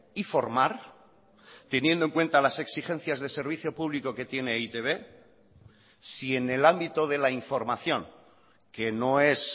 y formar teniendo en cuenta las exigencias de servicio público que tiene e i te be si en el ámbito de la información que no es